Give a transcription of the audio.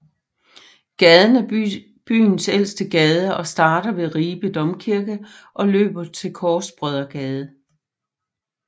Gaden er byens ældste gade og starter ved Ribe Domkirke og løber til Korsbrødregade